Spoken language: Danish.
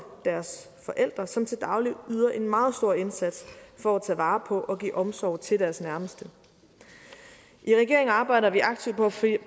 deres forældre som til daglig yder en meget stor indsats for at tage vare på og give omsorg til deres nærmeste i regeringen arbejder vi aktivt på at finde